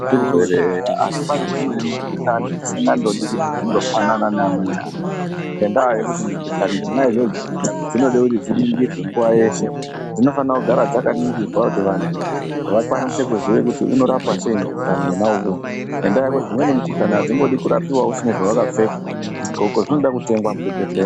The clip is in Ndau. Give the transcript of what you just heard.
Zvirwere eya, asi pane dzimweni mikhuhlani isingandodi kuti dzindofanana neamweni anhu, ngendaa yekuti mikhuhlani dzona idzodzo, dzinode kuti dziningirwe nguwa yeshe. Dzinofana kugara dzakaningirwa kuti vanhu, vakwanise kuziye kuti unorapwa sei mukhuhlani wona uwowo ,ngendaa yekuti dzimweni mikhuhlani adzingodi kurapiwa usina zvawakapfeka. Zvidhxoko zvinoda kutengwa muzvibhedhleya.